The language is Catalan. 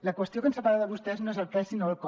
la qüestió que ens separa de vostès no és el què sinó el com